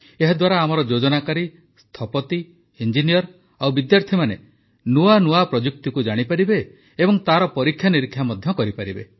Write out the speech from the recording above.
ଏହାଦ୍ୱାରା ଆମର ଯୋଜନାକାରୀ ସ୍ଥପତି ଇଂଜିନିୟର ଓ ବିଦ୍ୟାର୍ଥୀମାନେ ନୂଆ ପ୍ରଯୁକ୍ତିକୁ ଜାଣିପାରିବେ ଓ ତାର ପରୀକ୍ଷାନିରୀକ୍ଷା ମଧ୍ୟ କରିପାରିବେ